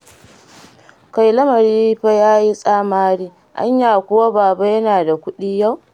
Kai lamari fa ya yi tsamari, anya kuwa Baba yana da kuɗi yau?